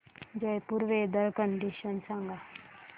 Jaipur weather condition सांगा